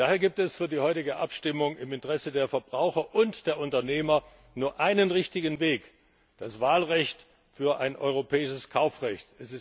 Daher gibt es für die heutige Abstimmung im Interesse der Verbraucher und der Unternehmer nur einen richtigen Weg das Wahlrecht für ein europäisches Kaufrecht!